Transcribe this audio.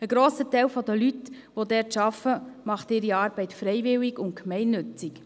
Ein grosser Teil der Leute, die dort arbeiten, macht seine Arbeit freiwillig und gemeinnützig.